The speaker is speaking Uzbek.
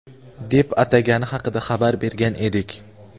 deb atagani haqida xabar bergan edik.